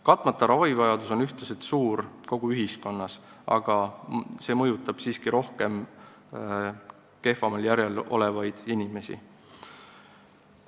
Katmata ravivajadus on ühtlaselt suur kogu ühiskonnas, aga see mõjutab siiski rohkem kehvemal järjel olevaid inimesi.